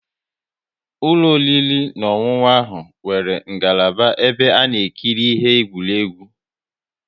Ụlọ oriri na ọṅụṅụ ha nwere ngalaba ebe ana ekiri ihe eqwuregwu